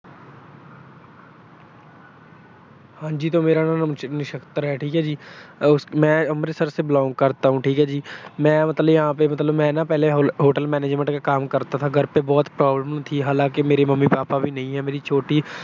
ਹਾਂਜੀ ਤਾਂ ਮੇਰਾ ਨਾਂ ਨਿਛਤਰ ਹੈ, ਠੀਕ ਹੈ ਜੀ। ਮੈਂ ਅੰਮ੍ਰਿਤਸ ਸੇ belong ਕਰਤਾ ਹੂੰ। ਠੀਕ ਆ ਜੀ। ਮੈਂ ਮਤਲਬ ਯਹਾ ਪੇ ਮਤਲਬ ਮੈਂ ਨਾ ਪਹਿਲੇ Hotel Manangement ਕਾ ਕਾਮ ਕਰਤਾ ਥਾ। ਘਰ ਪੇ ਬਹੁਤ problem ਥੀ। ਹਾਲਾਂਕਿ ਮੇਰੇ ਮੰਮੀ ਪਾਪਾ ਵੀ ਨਹੀਂ ਹੈ। ਮੇਰੀ ਛੋਟੀ